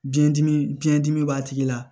Biyɛn dimi biyɛn dimi b'a tigi la